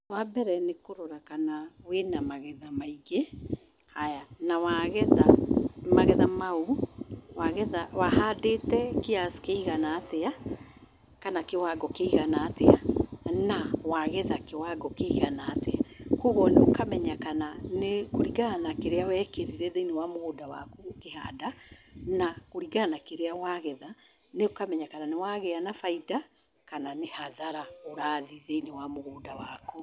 Wambere nĩ kũrora kana wĩna magetha maingĩ, haya na wagetha magetha mau, wahandĩte kiasi kĩigana atĩa kana kiwango kĩigana atĩa na wagetha kiwango kĩigana atia kwoguo ũkamenya kũringana na kĩrĩa wekĩrire mũgũnda waku ũkĩhanda na kũringana na kĩrĩa wagetha nĩũkamenya kana nĩwagĩa na baida kana nĩ hathara thĩiniĩ wa mũgũnda waku.